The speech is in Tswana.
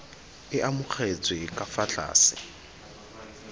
e amogetsweng ka fa tlase